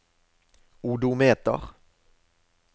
odometer